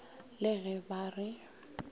e le ge ba re